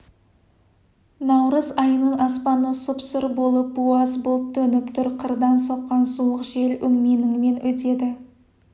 наурыз айының аспаны сұп-сұр болып буаз бұлт төніп тұр қырдан соққан суық жел өңменіңнен өтеді